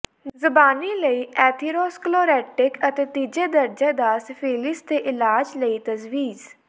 ਜ਼ਬਾਨੀ ਲਈ ਐਥੀਰੋਸਕਲੇਰੋਟਿਕ ਅਤੇ ਤੀਜੇ ਦਰਜੇ ਦਾ ਸਿਫਿਲਿਸ ਦੇ ਇਲਾਜ ਲਈ ਤਜਵੀਜ਼